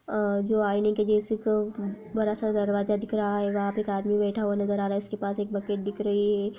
अ जो आईने के जैसी क बरा सा दरवाजा दिख रहा है वहाँ पे एक आदमी बैठा हुआ नजर आ रहा है उसके पास एक बकेट दिख रही है।